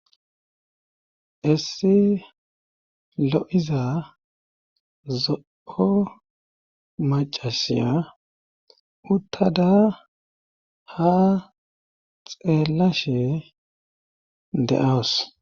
essi lo7iza zo7o macasiya uttada ha xeellashe de7awus